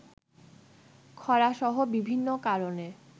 খরাসহ বিভিন্ন কারণে